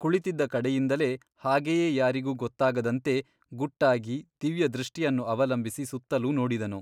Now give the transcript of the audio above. ಕುಳಿತಿದ್ದ ಕಡೆಯಿಂದಲೇ ಹಾಗೆಯೇ ಯಾರಿಗೂ ಗೊತ್ತಾಗದಂತೆ ಗುಟ್ಟಾಗಿ ದಿವ್ಯದೃಷ್ಟಿಯನ್ನು ಅವಲಂಬಿಸಿ ಸುತ್ತಲೂ ನೋಡಿದನು.